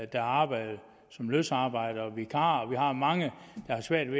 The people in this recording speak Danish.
der arbejder som løsarbejdere og vikarer og vi har mange der har svært